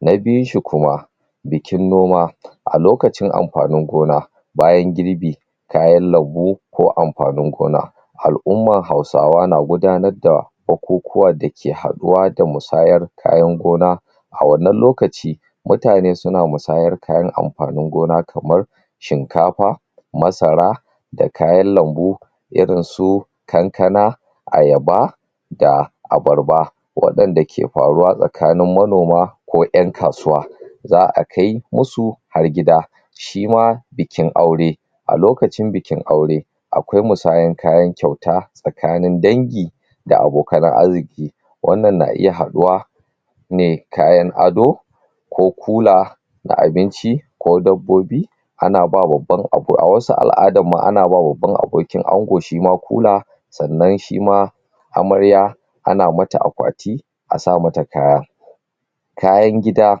Na biyun shi kuma bikin noma. A lokacin amfanin gona bayan girbi kayan lambu ko amfanin gona al'umman Hausawa na gudanar da bukukuwa da ke haɗuwa da musayar kayan gona. A wannan lokaci mutane su na musayar kayan amfanin gona kamar shinkafa, masara, da kayan lambu, irin su kankana, ayaba, da abarba. Waɗanda ke faruwa tsakanin manoma ko ƴan kasuwa. Za'a kai musu har gida. Shi ma bikin aure a lokacin bikin aure akwai musayan kayan kyauta tsakanin dangi da abokanan arziƙi. Wannan na iya haɗuwa me kayan ado ko kula na abinci ko dabbobi ana bawa babban abu a wasu al'adan ma ana ba babban abokin ango shi ma kula. Sannan shi ma amarya ana mata akwati a sa ma ta kaya kayan gida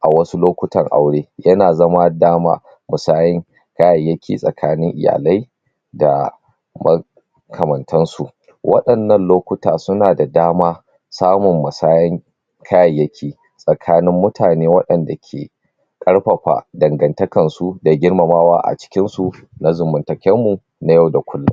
a wasu lokutan aure ya na zama daman musayan kayayyaki tsakanin iyalai da ma kamantan su. Waɗannan lokuta su na da dama samun masayan kayayyaki tsakanin mutane waɗanda ke ƙarfafa dangantakan su da girmamawa a cikin su na zamantaken mu na yau da kullum.